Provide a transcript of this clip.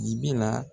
Ibi na